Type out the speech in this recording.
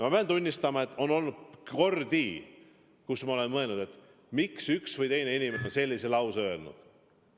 Ma pean tunnistama, et on olnud kordi, kus ma olen mõelnud, miks üks või teine inimene on sellise lause öelnud.